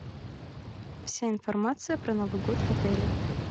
вся информация про новый год в отеле